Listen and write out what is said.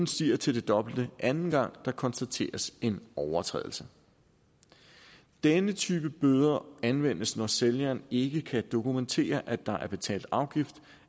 stiger til det dobbelte anden gang der konstateres en overtrædelse denne type bøder anvendes når sælgeren ikke kan dokumentere at der er betalt afgift